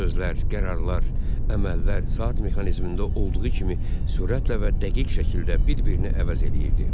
Sözlər, qərarlar, əməllər saat mexanizmində olduğu kimi sürətlə və dəqiq şəkildə bir-birini əvəz eləyirdi.